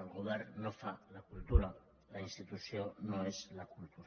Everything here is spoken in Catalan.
el govern no fa la cultura la institució no és la cultura